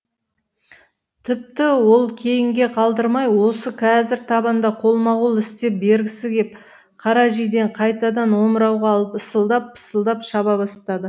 тіпті ол кейінге қалдырмай осы қазір табанда қолма қол істеп бергісі кеп қара жидені қайтадан омырауға алып ысылдап пысылдап шаба бастады